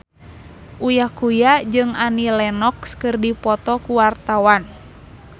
Uya Kuya jeung Annie Lenox keur dipoto ku wartawan